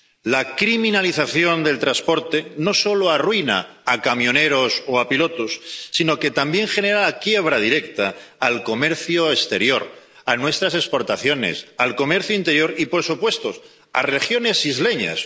La criminalización del transporte no solo arruina a camioneros o a pilotos, sino que también genera la quiebra directa del comercio exterior, de nuestras exportaciones, del comercio interior y, por supuesto, de las regiones isleñas.